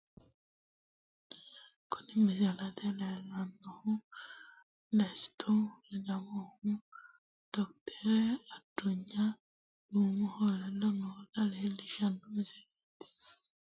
Kuni misilete la'neemohu Desiti ledamohu docter adunya duumohu ledo noota leelliishano misileeti, tene misile la'numontenni gede aduny duumohu sidaamu zeefene zafananoho